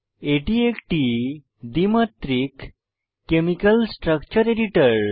এটি একটি দ্বিমাত্রিক কেমিকাল স্ট্রাকচার এডিটর